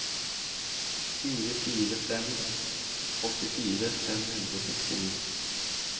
fire fire fire fem åttifire fem hundre og sekstini